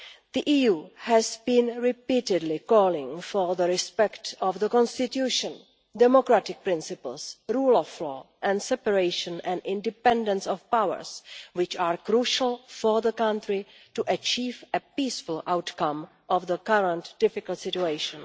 The EU has repeatedly been calling for respect for the Constitution, democratic principles, the rule of law and the separation and independence of powers which are crucial for the country to achieve a peaceful outcome to the current difficult situation.